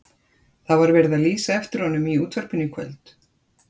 Það var verið að lýsa eftir honum í útvarpinu í kvöld.